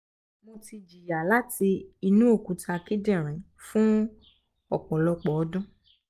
mo ti jiya lati inu okuta kidinrin fun ọpọlọpọ ọdun